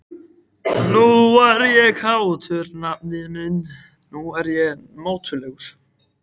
Nú er ég kátur, nafni minn, nú er ég mátulegur.